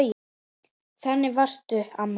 Þannig varstu, amma.